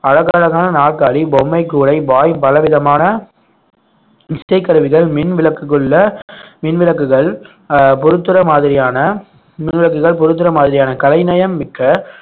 அழகழகான நாற்காலி பொம்மை கூடை பாய் பல விதமான இசைக்கருவிகள் மின் விளக்குக்குள்ள மின் விளக்குகள் அஹ் பொறுத்துற மாதிரியான மின் விளக்குகள் பொருத்துற மாதிரியான கலைநயம் மிக்க